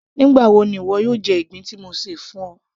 nígbà wo ni ìwọ yóò jẹ ìgbín tí mo ṣè fún ọ